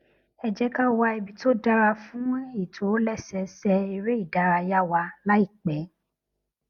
ẹ jé ká wá ibi tó dára fún ìtòlésẹẹsẹ eré ìdárayá wa láìpé